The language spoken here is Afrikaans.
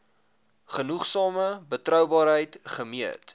genoegsame betroubaarheid gemeet